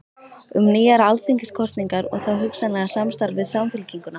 Um nýjar alþingiskosningar og þá hugsanlega samstarf við Samfylkinguna?